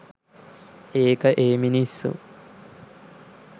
ඒක ඒ මිනිස්සු